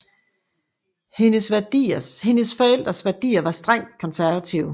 Hendes forældres værdier var strengt konservative